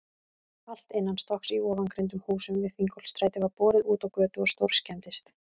Allt innanstokks í ofangreindum húsum við Þingholtsstræti var borið útá götu og stórskemmdist.